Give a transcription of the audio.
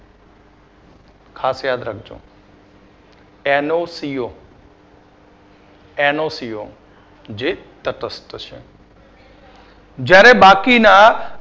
ખાસ યાદ રાખજો. NOCO ONCO જે તટસ્થ છે. જ્યારે બાકીના